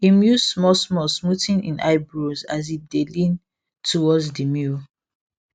im use small small smoothen im eyebrows as him dey lean toward the mirror